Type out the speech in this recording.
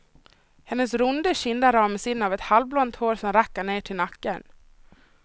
Hennes runda kinder ramas in av halvblont hår som räcker ner till nacken.